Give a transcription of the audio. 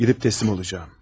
Gidip teslim olacağım.